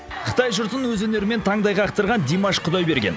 қытай жұртын өз өнерімен таңдай қақтырған димаш құдайберген